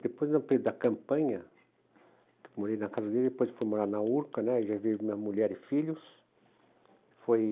Depois da campanha, que eu morei na casa dele, depois fui morar na Urca, né, já vi minha mulher e filhos. Foi...